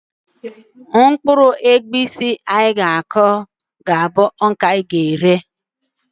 Mkpụrụ egwusi ọzọ anyị ga-aku ,ga - abụ nke anyị ga-eri